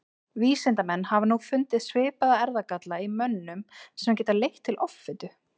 vísindamenn hafa nú fundið svipaða erfðagalla í mönnum sem geta leitt til offitu